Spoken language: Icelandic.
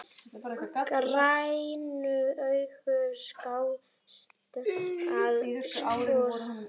Grænu augun skásett að sökkva.